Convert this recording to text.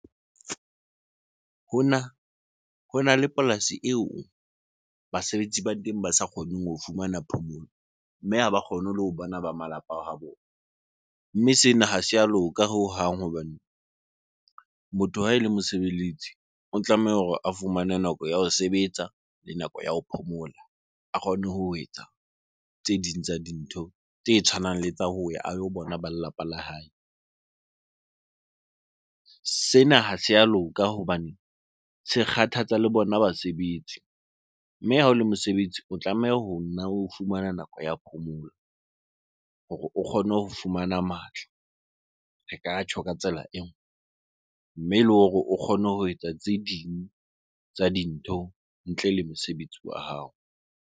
Hona le polasi eo basebetsi ba teng ba sa kgoneng ho fumana phomolo, mme ha ba kgone le ho bona ba malapa a ha bona Mme sena ha se a loka hohang hobane motho ha ele mosebeletsi, o tlameha hore a fumane nako ya ho sebetsa le nako ya ho phomola. A kgone ho etsa tse ding tsa dintho tse tshwanang le tsa hoya a yo bona ba lelapa la hae. Sena ha se a loka hobane se kgathatsa le bona basebetsi. Mme ha o le mosebetsi, o tlameha ho nna o fumana nako ya phomolo hore o kgone ho fumana matla. Re ka tjho ka tsela mme le hore o kgone ho etsa tse ding tsa dintho ntle le mosebetsi wa hao.